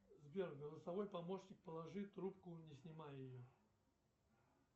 сбер голосовой помощник положи трубку не снимая ее